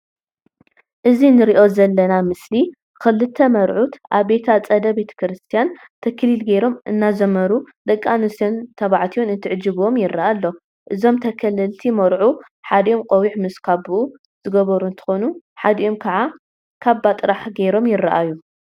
እዚ እንሪኦ ዘለና ምስሊ ክልተ መርዑት አብ ቤተ አፀደ ቤተክርስትያን ተክሊል ገይሮም እናዘመሩ ደቂ አንስትዮን ተባዕትዮን እንትዕጅብዎም ይረአ አሎ፡፡ እዞም ተከለልቲ መርዑት ሓዲኦም ቆቢዕ ምስ ካብኡ ዝገበሩ እንትኮኑ፤ ሓዲኦም ከዓ ካባ ጥራሕ ገይሮም ይረአዩ፡፡